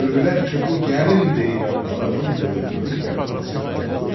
Gördülər ki, bu gəlin deyilən adamın qılıncının qəbzəsi qanlıdır.